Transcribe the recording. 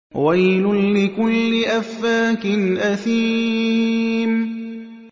وَيْلٌ لِّكُلِّ أَفَّاكٍ أَثِيمٍ